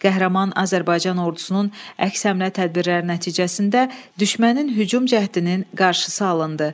Qəhrəman Azərbaycan ordusunun əks hərbi tədbirləri nəticəsində düşmənin hücum cəhdinin qarşısı alındı.